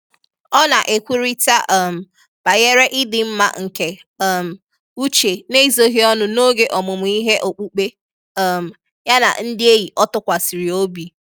Ọ́ nà-ékwúrị́tà um bànyèrè ị́dị́ mmá nké um úchè n’ézóghị́ ọnụ́ n’ógè ọ́mụ́mụ́ íhé ókpùkpé um yá nà ndị́ ényì ọ́ tụ́kwàsị̀rị̀ óbí.